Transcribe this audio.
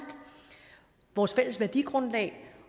vores fælles værdigrundlag